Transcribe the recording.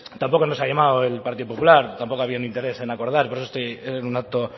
tampoco nos ha llamado el partido popular tampoco ha habido un interés en acordar por eso estoy en un acto